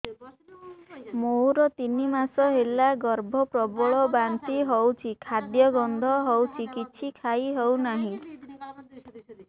ମୋର ତିନି ମାସ ହେଲା ଗର୍ଭ ପ୍ରବଳ ବାନ୍ତି ହଉଚି ଖାଦ୍ୟ ଗନ୍ଧ ହଉଚି କିଛି ଖାଇ ହଉନାହିଁ